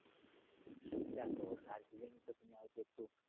দেখো দার্জিলিং প্রথমে হয়তো একটু